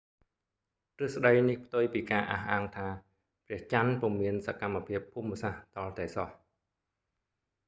ទ្រឹស្ដីនេះផ្ទុយពីការអះអាងថា ព្រះចន្ទពុំមានសកម្មភាពភូមិសាស្ត្រទាល់តែសោះ